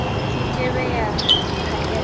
ke ke be ya phaellwa